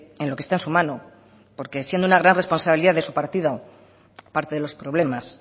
en lo que está en su mano porque siendo una gran responsabilidad de su partido parte de los problemas